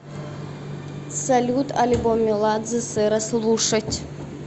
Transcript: салют альбом меладзе сэра слушать